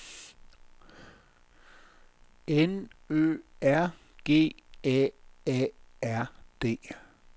N Ø R G A A R D